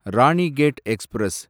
Ranikhet express